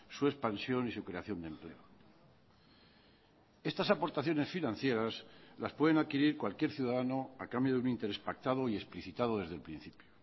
su expansión y su creación de empleo estas aportaciones financieras las pueden adquirir cualquier ciudadano a cambio de un interés pactado y explicitado desde el principio